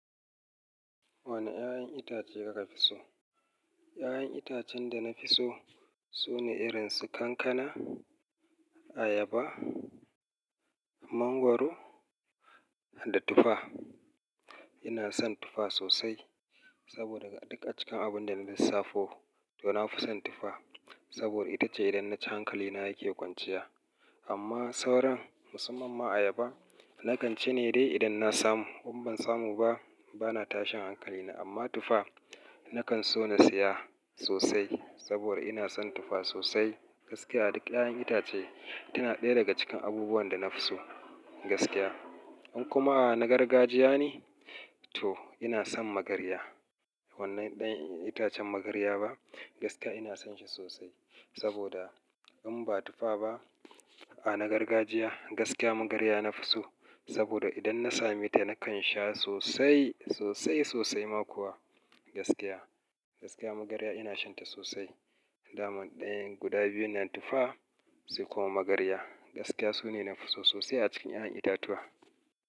Wane 'ya'yan itace kuka fi so? 'Ya'yan itacen da na fi so sune irin su kankana, ayaba, mangwaro da tufa. Ina son tufa sosai saboda duk a cikin abun da na lissafo, to na fi son tufa. Saboda ita ce idan na ci hankali na yake kwanciya. Amma sauran, musamman ma ayaba, na kan ci ne dai idan na samu. In ban samu ba, ba na tashin hankali na. Amma tufa na kan so na siya sosai saboda ina son tufa sosai gaskiya. Duk 'ya'yan itace tana ɗaya daga cikin abubuwan da na fi so gaskiya. In kuma a na gargajiya ne, to ina son magarya. Wannan ɗan itacen magarya ba gaskiya ina son shi sosai. Saboda in ba tufa ba, a na gargajiya gaskiya magarya na fi so. Saboda idan na sami ta, na kan sha sosai, sosai sosai ma kuwa gaskiya. Gaskiya magarya ina shan ta sosai. Daman ɗayan guda biyun nan tufa sai kuma magarya. Gaskiya su ne na fi so sosai a cikin 'ya'yan itatuwa.